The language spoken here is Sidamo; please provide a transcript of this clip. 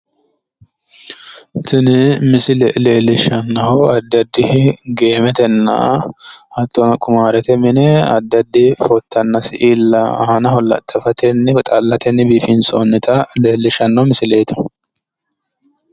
tini misile leellishshannohu addi addi geemetenna hattono qumaarrete mine addi addi footanna siilla aanaho laxafatenna woy xallatenni biifinsoonnita leellishshanno misileeti.